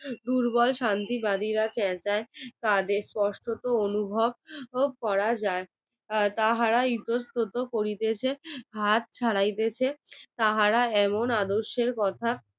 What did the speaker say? দুর্বল শান্তিবাদীরা চেঁচায় তাদের স্পষ্ট তো অনুভব করা যায় তাহারা ইতস্তত করিতেছে হাত ছাড়াইতেছে তারা এমন আদর্শের কথা